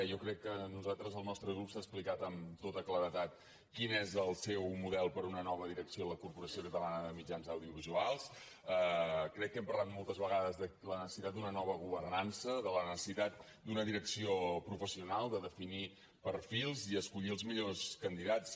jo crec que nosaltres el nostre grup ha explicat amb tota claredat quin és el seu model per a una nova direcció a la corporació catalana de mitjans audiovisuals crec que hem parlat moltes vegades de la necessitat d’una nova governança de la necessitat d’una direcció professional de definir perfils i escollir els millors candidats